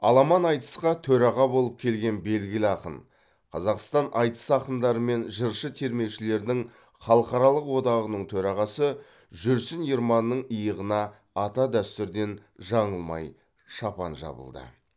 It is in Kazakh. аламан айтысқа төраға болып келген белгілі ақын қазақстан айтыс ақындары мен жыршы термешілердің халықаралық одағаның төрағасы жүрсін ерманның иығына ата дәстүрден жаңылмай шапан жабылды